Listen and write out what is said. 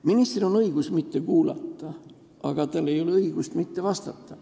Ministril on õigus mitte kuulata, aga tal ei ole õigust mitte vastata.